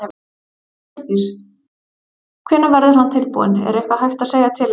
Hjördís: Hvenær verður hann tilbúinn, er eitthvað hægt að segja til um það?